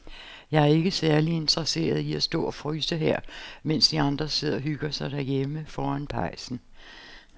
Jeg er ikke særlig interesseret i at stå og fryse her, mens de andre sidder og hygger sig derhjemme foran pejsen.